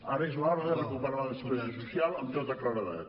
ara és l’hora de recuperar la despesa social amb tota claredat